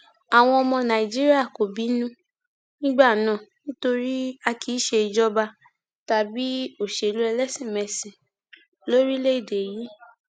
àwọn ọmọ nàìjíríà kò bínú nígbà náà nítorí a kì í ṣe ìjọba tàbí òṣèlú ẹlẹsìnmẹsìn lórílẹèdè yìí